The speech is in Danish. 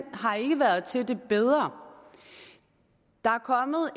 har ikke været til det bedre der